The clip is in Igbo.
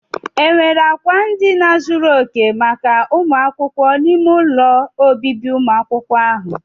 Enwere akwa ndina zuru oke maka ụmụ akwụkwọ n'ime ụlọ ọbịbị umụ akwukwo ahụ?